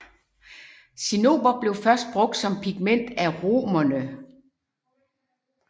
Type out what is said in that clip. Cinnober blev først brugt som pigment af romerne